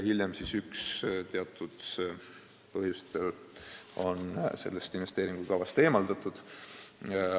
Hiljem sai üks taotlus teatud põhjustel investeeringukavast eemaldatud.